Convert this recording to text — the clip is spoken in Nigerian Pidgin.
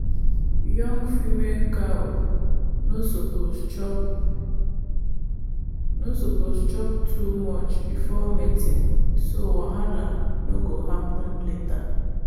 young female cow no suppose chop too chop too much before mating so wahala no go happen later.